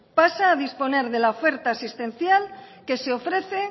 pasa a disponer de la oferta asistencial que se ofrece